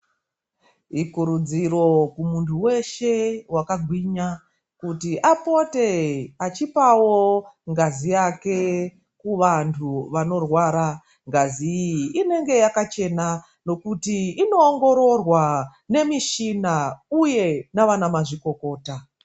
Ikurudziro kumunhu weshe wakagwinya kuti apote achipawo ngazi yake kuvanhu vanorwara. Ngazi iyi inenge yakachena nekuti inoongororwa nemishina uye navanamazvikokota.